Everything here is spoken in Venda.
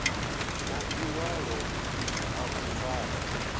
na ḽiṅwalo ḽa u fara